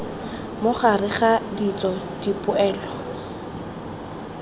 mo gareg ga ditso dipoelo